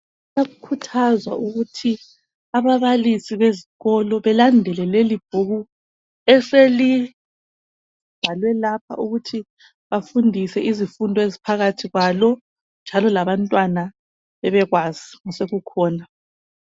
Kuyakhuthazwa ukuthi ababalisi bezikolo belandele leli bhuku eselibhalwe lapha ukuthi bafundise izifundo eziphakathi kwalo njalo labantwana bebekwazi osokukhona .